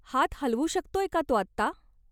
हात हलवू शकतोय का तो आत्ता?